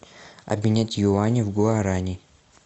обменять юани в гуарани